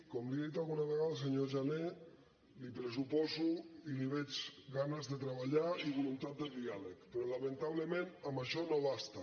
com li he dit alguna vegada senyor jané li pressuposo i li veig ganes de treballar i voluntat de diàleg però lamentablement amb això no basta